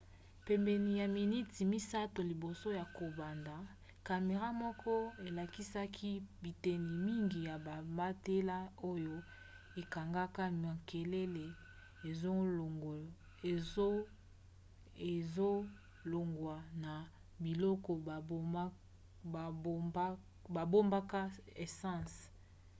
pene ya miniti 3 liboso ya kobanda camera moko elakisaki biteni mingi ya bamatela oyo ekangaka makelele ezolongwa na biloko babombaka essence